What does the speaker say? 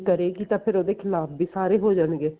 ਕਰੇਗੀ ਤਾਂ ਫੇਰ ਉਹਦੇ ਖਿਲਾਫ਼ ਵੀ ਸਾਰੇ ਹੋ ਜਾਣਗੇ